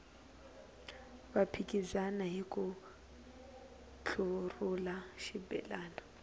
va phikizana hiku ntlurhula xibelani